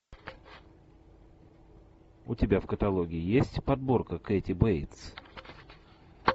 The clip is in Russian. у тебя в каталоге есть подборка кэти бейтс